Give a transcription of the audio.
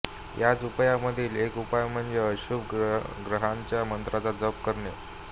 याच उपायांमधील एक उपाय म्हणजे अशुभ ग्रहाच्या मंत्राचा जप करणे